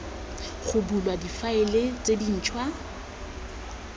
ga bulwa difaele tse dintšhwa